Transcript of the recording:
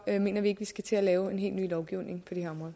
mener vi ikke at vi skal til at lave en helt ny lovgivning